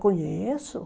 Conheço.